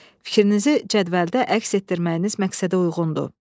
Fikrinizi cədvəldə əks etdirməyiniz məqsədə uyğundur.